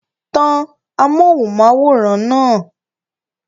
Tan amóhùnm'áwòrán náà!